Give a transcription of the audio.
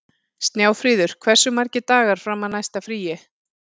Snjáfríður, hversu margir dagar fram að næsta fríi?